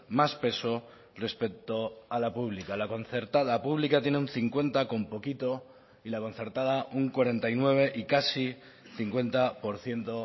más peso respecto a la pública la concertada pública tiene un cincuenta con poquito y la concertada un cuarenta y nueve y casi cincuenta por ciento